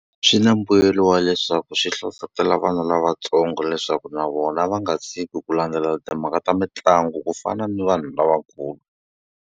Swi na mbuyelo wa leswaku swi hlohletelo vana lavatsongo leswaku na vona va nga tshiki ku landzela timhaka ta mitlangu ku fana ni vanhu lavakulu.